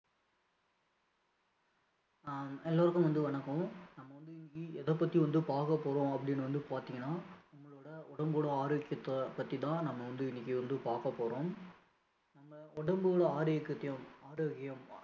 ஆஹ் எல்லோருக்கும் வந்து வணக்கம் நம்ம வந்து இன்னைக்கி எதைப்பத்தி வந்து பார்க்கப்போறோம் அப்படின்னு வந்து பார்த்திங்கன்னா நம்மளோட உடம்போட ஆரோக்கியத்த பத்தி தான் நம்ம வந்து இன்னைக்கி வந்து பார்க்கப்போறோம் நம்ம உடம்பு ஆரோக்கியத்தயும்